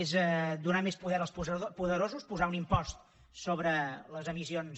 és donar més poder als poderosos posar un impost sobre les emissions